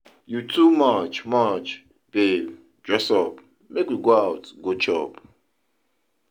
You too much, much, babe dress up make we go out go chop.